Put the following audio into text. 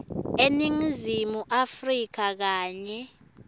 eningizimu afrika kanye